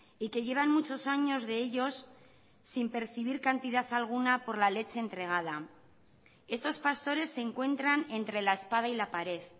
y que llevan muchos años de ellos sin percibir cantidad alguna por la leche entregada estos pastores se encuentran entre la espada y la pared